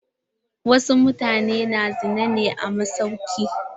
Wasu mutane na zina ne a masauki.